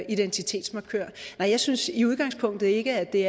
identitetsmarkør nej jeg synes i udgangspunktet ikke at det